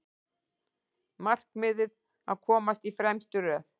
Markmiðið að komast í fremstu röð